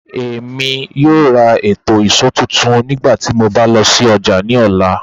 Emi yoo ra eto ìṣó tuntun nigbati mo ba lọ si ọja ni ọla.